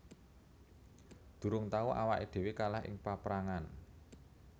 Durung tau awaké dhéwé kalah ing paprangan